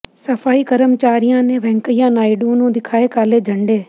ਸਫ਼ਾਈ ਕਰਮਚਾਰੀਆਂ ਨੇ ਵੈਂਕੱਈਆ ਨਾਇਡੂ ਨੂੰ ਦਿਖਾਏ ਕਾਲੇ ਝੰਡੇ